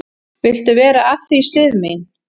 """Viltu vera að því, Sif mín?"""